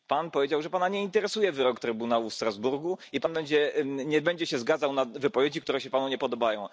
Pan powiedział, że Pana nie interesuje wyrok Trybunału w Strasburgu i Pan nie będzie się zgadzał na wypowiedzi, które się Panu nie podobają.